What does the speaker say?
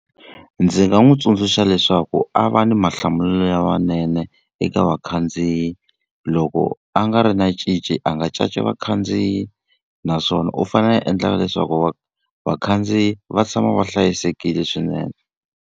Ndzi nga n'wi tsundzuxa leswaku a va ni mahlamulelo lamanene eka vakhandziyi, loko a nga ri na cinci a nga caci vakhandziyi. Naswona u fanele a endla na leswaku vakhandziyi va tshama va hlayisekile swinene.